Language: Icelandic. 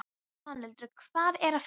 Svanhildur, hvað er að frétta?